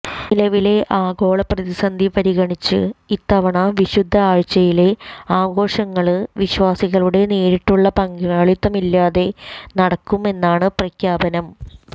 നിലവിലെ ആഗോള പ്രതിസന്ധി പരിഗണിച്ച് ഇത്തവണ വിശുദ്ധ ആഴ്ചയിലെ ആഘോഷങ്ങള് വിശ്വാസികളുടെ നേരിട്ടുള്ള പങ്കാളിത്തമില്ലാതെ നടക്കും എന്നാണ് പ്രഖ്യാപനം